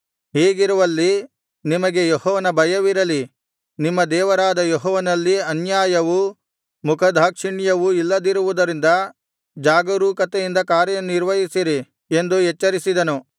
ಹೀಗಿರುವಲ್ಲಿ ನಿಮಗೆ ಯೆಹೋವನ ಭಯವಿರಲಿ ನಿಮ್ಮ ದೇವರಾದ ಯೆಹೋವನಲ್ಲಿ ಅನ್ಯಾಯವೂ ಮುಖದಾಕ್ಷಿಣ್ಯವೂ ಇಲ್ಲದಿರುವುದರಿಂದ ಜಾಗರೂಕತೆಯಿಂದ ಕಾರ್ಯನಿರ್ವಹಿಸಿರಿ ಎಂದು ಎಚ್ಚರಿಸಿದನು